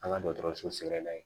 An ka dɔgɔtɔrɔso sɛgɛrɛ n'a ye